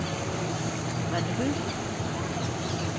Rennebu